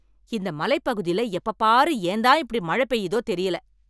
இந்த மலைப்பகுதில எப்பப் பாரு ஏன் தான் இப்படி மழை பெய்யுதோ தெரியல